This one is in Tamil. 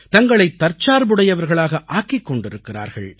தங்களை தற்சார்புடையவர்களாக ஆக்கிக் கொண்டிருக்கிறார்கள்